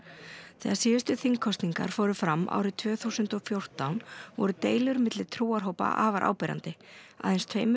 þegar síðustu þingkosningar fóru fram árið tvö þúsund og fjórtán voru deilur milli trúarhópa afar áberandi aðeins tveimur